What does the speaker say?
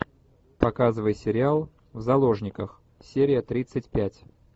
показывай сериал в заложниках серия тридцать пять